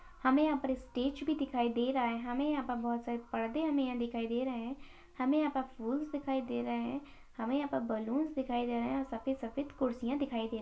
हमे यहा पर स्टेज भी दिखाई दे रहा है। हमे यहा पर बहुत सारे पर्दे हमे यहा दिखाई दे रहे है। हमे यहा पर फूल्स दिखाई दे रहे है। हमे यहा पर बलून्स दिखाई दे रहे है और सफेद-सफेद कुरसिया दिखाई दे --